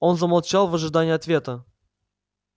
он замолчал в ожидании ответа